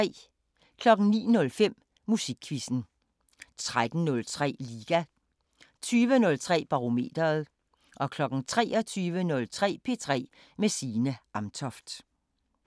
09:05: Musikquizzen 13:03: Liga 20:03: Barometeret 23:03: P3 med Signe Amtoft